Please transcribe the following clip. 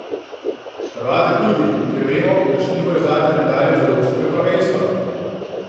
Hrvate tudi, ker vemo, da še nimajo zlate medalje z evropskega prvenstva.